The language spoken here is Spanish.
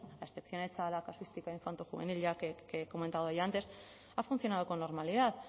a excepción hecha de la casuística infanto juvenil que ya he comentado yo antes ha funcionado con normalidad